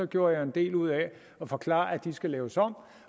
gjorde jeg en del ud af at forklare at de skal laves om